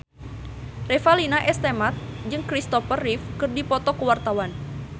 Revalina S. Temat jeung Christopher Reeve keur dipoto ku wartawan